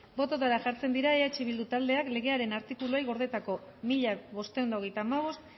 bototara jartzen dira eh bildu taldeak legearen artikuluei gordetako mila bostehun eta hogeita hamabost